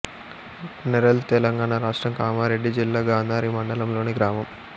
నెరల్ తెలంగాణ రాష్ట్రం కామారెడ్డి జిల్లా గాంధారి మండలంలోని గ్రామం